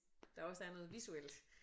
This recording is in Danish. Der også er noget visuelt